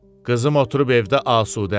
Qızım oturub evdə asudə.